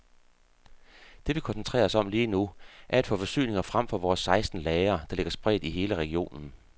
Det vi koncentrerer os om lige nu, er at få forsyninger frem fra vores seksten lagre, der ligger spredt i hele regionen.